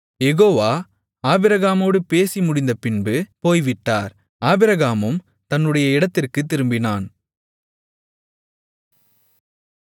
யெகோவா ஆபிரகாமோடு பேசி முடிந்தபின்பு போய்விட்டார் ஆபிரகாமும் தன்னுடைய இடத்திற்குத் திரும்பினான்